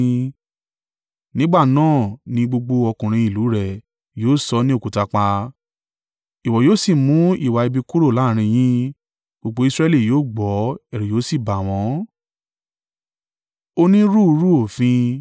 Nígbà náà ni gbogbo ọkùnrin ìlú rẹ̀ yóò sọ ọ́ ní òkúta pa. Ìwọ yóò sì mú ìwà ibi kúrò láàrín yín, gbogbo Israẹli yóò gbọ́, ẹ̀rù yóò sì bà wọ́n.